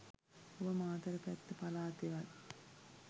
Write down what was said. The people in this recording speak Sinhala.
ඔබ මාතර පැත්ත පළාතෙවත්